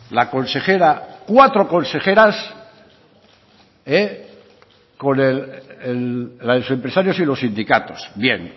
la consejera cuatro consejeras con los empresarios y los sindicatos bien